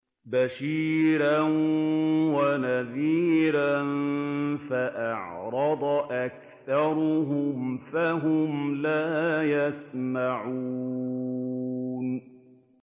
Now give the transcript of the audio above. بَشِيرًا وَنَذِيرًا فَأَعْرَضَ أَكْثَرُهُمْ فَهُمْ لَا يَسْمَعُونَ